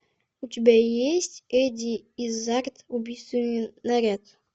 у тебя есть эдди иззард убийственный наряд